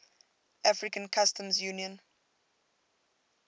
african customs union